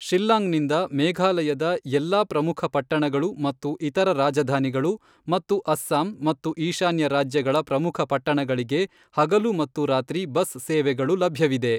ಶಿಲ್ಲಾಂಗ್ನಿಂದ ಮೇಘಾಲಯದ ಎಲ್ಲಾ ಪ್ರಮುಖ ಪಟ್ಟಣಗಳು ಮತ್ತು ಇತರ ರಾಜಧಾನಿಗಳು ಮತ್ತು ಅಸ್ಸಾಂ ಮತ್ತು ಈಶಾನ್ಯ ರಾಜ್ಯಗಳ ಪ್ರಮುಖ ಪಟ್ಟಣಗಳಿಗೆ ಹಗಲು ಮತ್ತು ರಾತ್ರಿ ಬಸ್ ಸೇವೆಗಳು ಲಭ್ಯವಿದೆ.